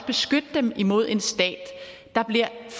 beskytte dem imod en stat der bliver